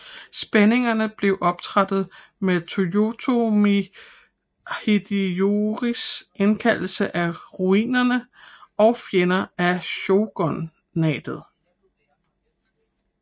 Spændingerne blev optrappet med Toyotomi Hideyoris indkaldelse af roniner og fjender af shogunatet